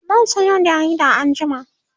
zan Sayo jarida anjima